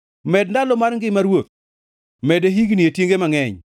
Med ndalo mar ngima ruoth, mede higni e tienge mangʼeny.